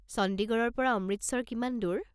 চণ্ডীগড়ৰ পৰা অমৃতসৰ কিমান দূৰ?